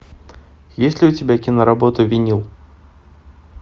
есть ли у тебя киноработа винил